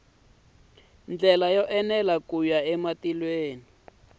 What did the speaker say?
ndlela yo enela ku ya